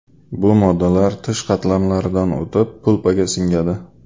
Bu moddalar tish qatlamlaridan o‘tib, pulpaga singadi.